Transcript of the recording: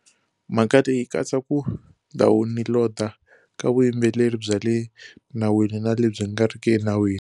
Mhaka leyi yi katsa ku dawuniloda ka vuyimbeleri bya le nawini na lebyi nga riki enawini.